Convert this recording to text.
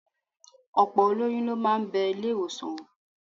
Ọ̀pọ̀ olóyún ló máa bẹ ilé-ìwọ̀sàn wò